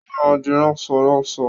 Ó má di ránsọránaọ.